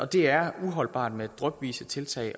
det er uholdbart med drypvise tiltag i